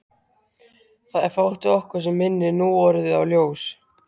Það er fátt við okkur sem minnir núorðið á ljós.